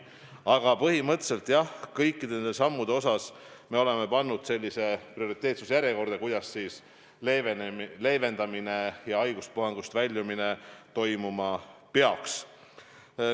Aga põhimõtteliselt jah, kõik need sammud me oleme pannud prioriteetsuse järjekorda, kuidas leevendamine ja haiguspuhangust väljumine toimuma peaks.